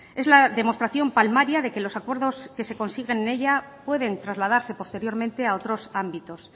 es la demostración palmaria de que los acuerdos que se consiguen en ella pueden trasladarse posteriormente a otros ámbitos